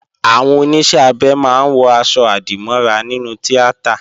Àwọn Oníṣẹ́-abẹ máa ń wọ̀ aṣọ-àdìmọ́ra nínú tíátà